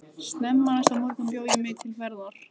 Snemma næsta morgun bjó ég mig til ferðar.